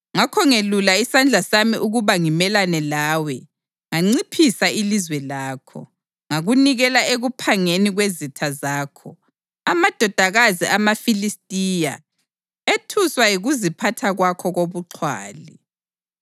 Ngakho ngelula isandla sami ukuba ngimelane lawe nganciphisa ilizwe lakho; ngakunikela ekuphangeni kwezitha zakho, amadodakazi amaFilistiya, ethuswa yikuziphatha kwakho kobuxhwali!